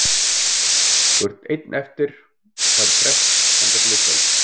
Þú ert einn eftir og færð frest þangað til í kvöld.